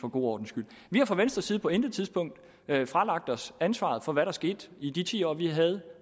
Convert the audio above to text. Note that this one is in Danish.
for god ordens skyld vi har fra venstres side på intet tidspunkt fralagt os ansvaret for hvad der skete i de ti år vi havde